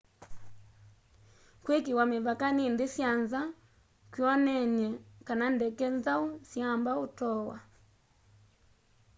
kwikiiwa mivaka ni nthi sya nza kwioneny'e kana ndeke nzau siyamba utoowa